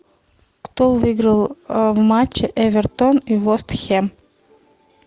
кто выиграл в матче эвертон и вест хэм